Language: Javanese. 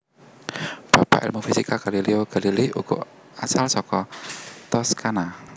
Bapak ilmu fisika Galileo Galilei uga asal saka Toscana